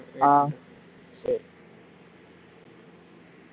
ஆஹ் சரி